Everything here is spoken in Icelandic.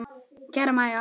Kæra Mæja.